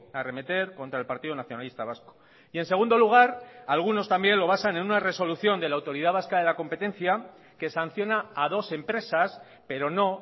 arremeter contra el partido nacionalista vasco y en segundo lugar algunos también lo basan en una resolución de la autoridad vasca de la competencia que sanciona a dos empresas pero no